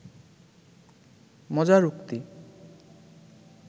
মজার উক্তি